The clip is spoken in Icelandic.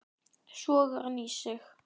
Sogar hann í sig.